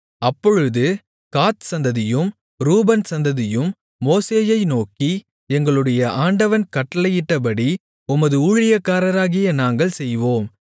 அப்பொழுது காத் சந்ததியும் ரூபன் சந்ததியும் மோசேயை நோக்கி எங்களுடைய ஆண்டவன் கட்டளையிட்டபடி உமது ஊழியக்காரராகிய நாங்கள் செய்வோம்